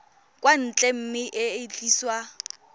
kwa ntle mme e tliswa